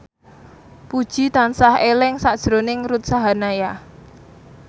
Puji tansah eling sakjroning Ruth Sahanaya